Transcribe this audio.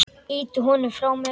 Ýti honum frá mér.